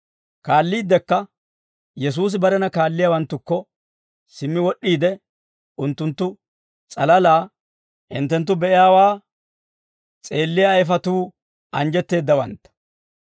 Kaalliiddekka Yesuusi barena kaalliyaawanttukko simmi wod'd'iide, unttunttu s'alalaa, «Hinttenttu be'iyaawaa s'eelliyaa ayfatuu anjjetteeddawantta.